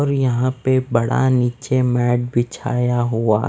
और यहाँ पे बड़ा निचे मैट बिछाया हुआ --